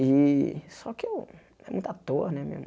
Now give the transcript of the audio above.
E só que eu é muita toa, né?